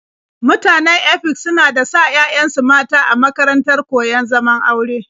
Mutanen Efik suna da sa 'ya'yansu mata a makarantar koyon zaman aure.